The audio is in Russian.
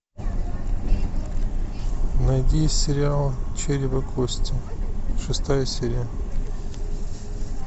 найди сериал череп и кости шестая серия